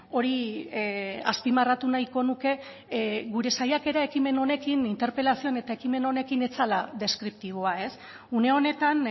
hori azpimarratu nahiko nuke gure saiakera ekimen honekin interpelazioan eta ekimen honekin ez zela deskriptiboa une honetan